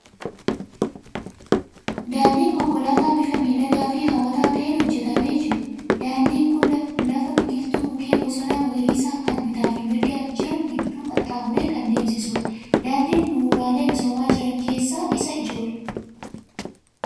Daandii konkolaataa bifa miidhagaa fi hawwataa ta'een hojjetamee jiru. Daandiin kun lafa biqiltuu mukeen bosona magariisaa kan bitaa fi mirgaan jiran gidduu qaxxaamuree kan deemsisudha. Daandiin bu'uuraalee misoomaa jiran keessaa isa ijoodha.